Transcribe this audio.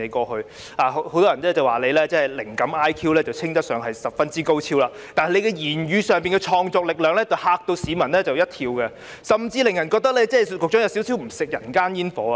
很多人說你是"靈感 IQ 稱得上十分之高超"，但你在語言方面則是"創作力量嚇了市民一跳"，甚至令人覺得局長是不吃人間煙火。